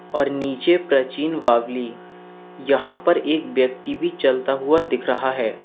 और नीचे प्राचीन बावली यहां पर एक व्यक्ति भी चलता हुआ दिख रहा है।